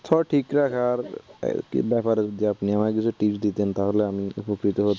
স্বাস্থ্য ঠিক রাখার ব্যপারে যদি আপনি আমাকে কিছু tips দিতেন তাহলে আমি উপকৃত হতাম।